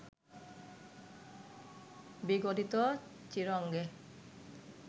বিগলিত চীর অঙ্গে